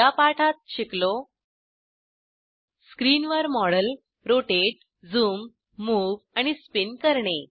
या पठात शिकलो स्क्रिनवर मॉडेल रोटेट झूम मुव्ह आणि स्पिन करणे